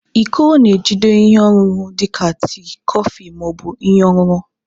Iko na-ejide ihe ọṅụṅụ dị ka tii, kọfị, ma ọ bụ ihe ọṅụṅụ.